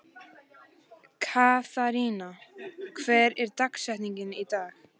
Katharina, hver er dagsetningin í dag?